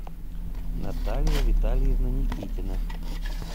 наталья витальевна никитина